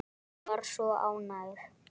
Hún var svo ánægð.